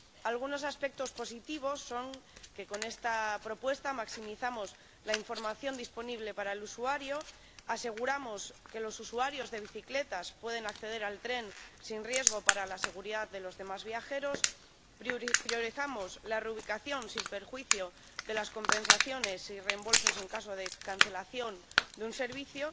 Algunos aspectos positivos son que con esta propuesta maximizamos la información disponible para el usuario, aseguramos que los usuarios de bicicletas pueden acceder al tren sin riesgo para la seguridad de los demás viajeros, priorizamos la reubicación sin perjuicio de las compensaciones y reembolsos en caso de cancelación de un servicio